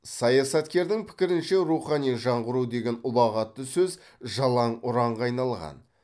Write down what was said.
саясаткердің пікірінше рухани жаңғыру деген ұлағатты сөз жалаң ұранға айналған